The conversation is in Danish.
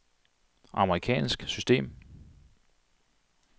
amerikansk system